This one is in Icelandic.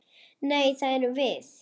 Nei, það erum við.